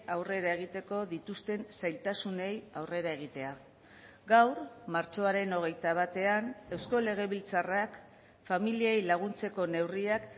aurrera egiteko dituzten zailtasunei aurrera egitea gaur martxoaren hogeita batean eusko legebiltzarrak familiei laguntzeko neurriak